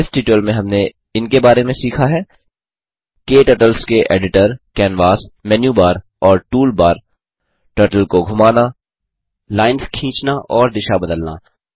इस ट्यूटोरियल में हमने इनके बारे में सीखा है क्टर्टल्स के एडिटर कैनवास मेनुबार और टूलबार टर्टल को घुमाना लाइन्स खींचना और दिशा बदलना